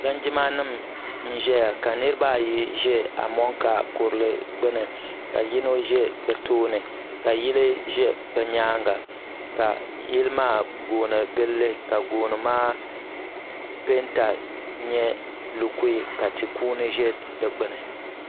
Linjima nIma n ʒɛya ka Niriba ayi ʒɛ amonka kurili gbini ka yino ʒɛ bɛ tooni ka yili ʒɛ bɛ nyaanga ka yili maa gooni gilili ka gooni maa penta nyɛ lukui ka tikuuni ʒɛ di gbini.